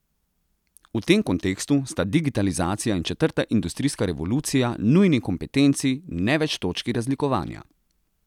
V tem kontekstu sta digitalizacija in četrta industrijska revolucija nujni kompetenci, ne več točki razlikovanja.